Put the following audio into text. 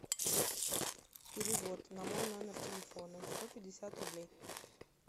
перевод на мой номер телефона сто пятьдесят рублей